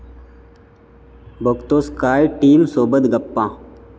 बघतोस काय...' टीमसोबत गप्पा